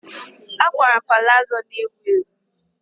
A kwara m palazo a na-ewu ewu.